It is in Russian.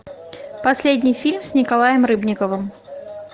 последний фильм с николаем рыбниковым